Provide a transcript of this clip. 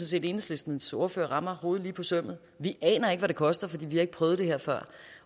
set enhedslistens ordfører rammer hovedet på sømmet vi aner ikke hvad det koster for vi har ikke prøvet det her før